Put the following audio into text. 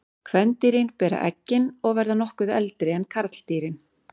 Kvendýrin bera eggin og verða nokkuð eldri en karldýrin.